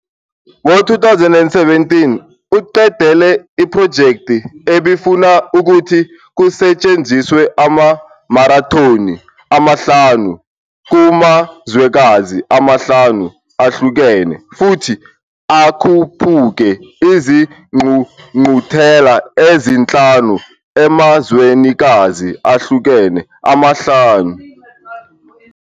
Ngo-2017 uqedele iphrojekthi ebifuna ukuthi kusetshenziswe ama-marathoni amahlanu kumazwekazi amahlanu ahlukene, futhi akhuphuke izingqungquthela ezinhlanu emazwenikazi ahlukene amahlanu.